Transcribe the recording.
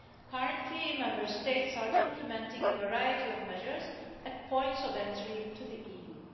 Currently, Member States are implementing a variety of measures at points of entry to the EU.